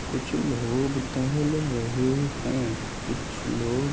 कुछ लोग टेहल रहे है कुछ लोग--